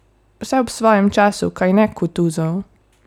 Vse ob svojem času, kajne, Kutuzov?